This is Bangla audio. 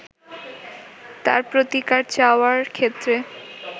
তার প্রতিকার চাওয়ার ক্ষেত্রে